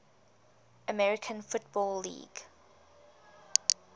american football league